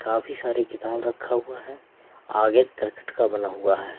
काफी सारे किताब रखा हुआ है आगे क्रिकेट का बना हुआ है।